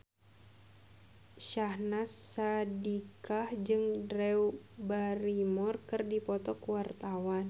Syahnaz Sadiqah jeung Drew Barrymore keur dipoto ku wartawan